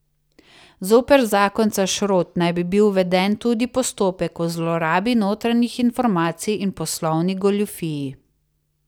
Zoper zakonca Šrot naj bi bil uveden tudi postopek o zlorabi notranjih informacij in poslovni goljufiji.